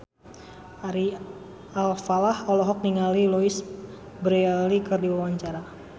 Ari Alfalah olohok ningali Louise Brealey keur diwawancara